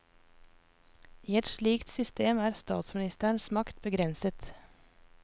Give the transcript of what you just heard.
I et slikt system er statsministerens makt begrenset.